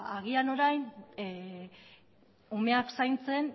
ba agian orain umeak zaintzen